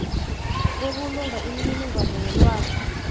ebulunga imininingwana yelwazi